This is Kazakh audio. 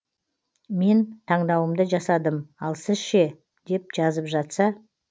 мен таңдауымды жасадым ал сіз ше деп жазып жатса